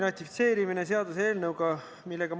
Kas selline põhjendus on moraalne?